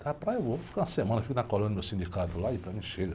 Na praia eu vou ficar uma semana, fico na colônia do meu sindicato lá e para mim chega.